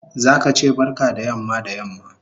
Zaka che barka da yamma da yamma